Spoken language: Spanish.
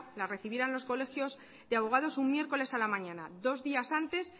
la recibieran los colegios de abogados un miércoles a la mañana dos días antes